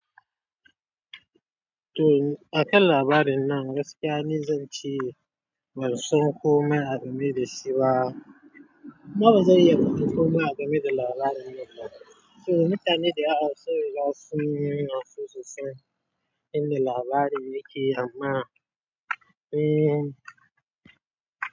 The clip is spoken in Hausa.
To akan labarin nan gaskiya ne zan ce bansan ko mana game da shi ba. Kuma bazan iya fadan komai a game da labarin nan ba. To mutane da yawa sai da sun nuna sosai inda labarin yake amma, eh.